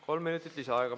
Kolm minutit lisaaega.